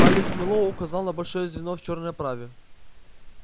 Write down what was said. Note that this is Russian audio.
палец мэллоу указал на большое звено в чёрной оправе